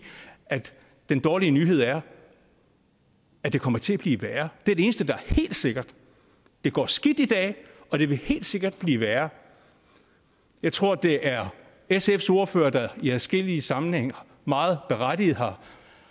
at den dårlige nyhed er at det kommer til at blive værre det er det eneste der er helt sikkert det går skidt i dag og det vil helt sikkert blive værre jeg tror det er sfs ordfører der i adskillige sammenhænge meget berettiget har